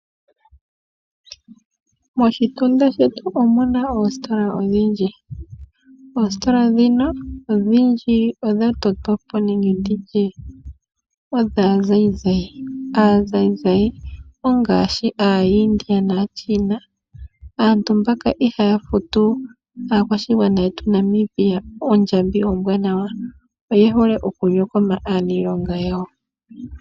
Moshitunda shetu omuna oositola odhindji. Oositola dhika odhindji odha totwapo kaazayizayi. Aazayizayi oyo ngaashi aaIndia naaChina. Aantu mbaka ihaya futu aakwashigwana yetu Namibia ondjambi ombwaanawa. Oye hole oku nyokoma aaniilonga yawo.